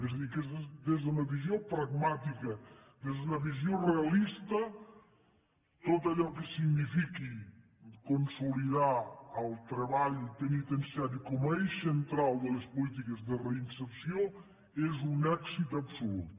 és a dir que des d’una visió pragmàtica des d’una visió realista tot allò que signifiqui consolidar el treball penitenciari com a eix central de les polítiques de reinserció és un èxit absolut